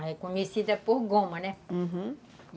Aí é conhecida por goma, né? Uhum.